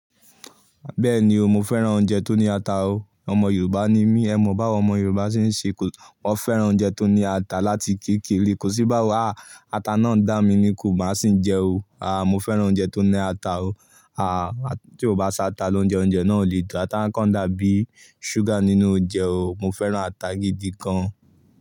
Bẹ́ẹ̀ni o, mo fẹ́ràn oúnjẹ tó ní ata o. Ọmọ Yorùbá ni mí, ẹ mọ̀ báwọn ọmọ Yorùbá ṣe ń ṣe, wọ́n fẹ́ràn oúnjẹ tó ní ata láti kékere. Kò sí báwa, ata náà ń dà mí ni kò bá sì ń jẹ o. A mo fẹ́ràn oúnjẹ tó ní ata o. A tí ò bá sí ata lóúnjẹ, oúnjẹ náà ò lè dùn. Ata kán dàbí ṣúgà nínú oúnjẹ o. Mo fẹ́ràn ata gidi gan.